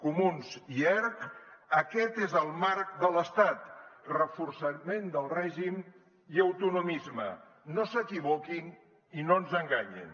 comuns i erc aquest és el marc de l’estat reforçament del règim i autonomisme no s’equivoquin i no ens enganyin